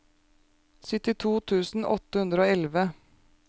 syttito tusen åtte hundre og elleve